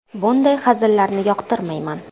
Bunday hazillarni yoqtirmayman.